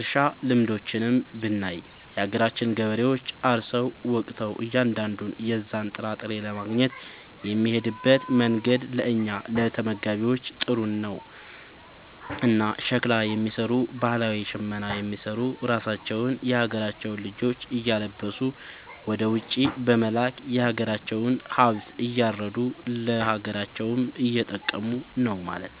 እርሻ ልምዶችንም ብናይ የሀገራችን ገበሬዎች አርሰው ወቅተው እያንዳንዱን የዛን ጥራጥሬ ለማግኘት የሚሄድበት መንገድ ለእኛ ለተመጋቢዎች ጥሩ ነው። እና ሸክላ የሚሰሩ ባህላዊ ሽመና የሚሰሩ ራሳቸውን የሀገራቸውን ልጆች እያለበሱ ወደ ውጪ በመላክ የሀገራቸውን ሃብት እያረዱ ለሀገራቸውም እየጠቀሙ ነው ማለት።